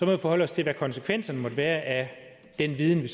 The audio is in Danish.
vi forholde os til hvad konsekvenserne måtte være af den viden vi